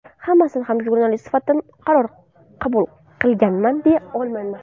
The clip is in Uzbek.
Hammasida ham jurnalist sifatida to‘g‘ri qaror qilganman, deya olmayman.